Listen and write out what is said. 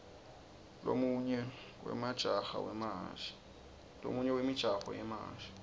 lomunye wemijaho wemahhashi